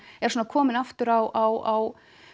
er svona kominn aftur á